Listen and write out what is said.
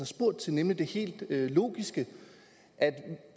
spurgt til nemlig det helt logiske i